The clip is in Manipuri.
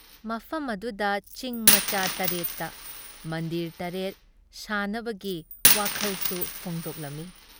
ꯃꯐꯝ ꯑꯗꯨꯒꯤ ꯆꯤꯡ ꯃꯆꯥ ꯇꯔꯦꯠꯇ ꯃꯟꯗꯤꯔ ꯇꯔꯦꯠ ꯁꯥꯅꯕꯒꯤ ꯋꯥꯈꯜꯁꯨ ꯐꯣꯡꯗꯣꯛꯂꯝꯃꯤ ꯫